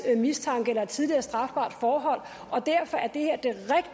mistanke eller et tidligere strafbart forhold derfor er det her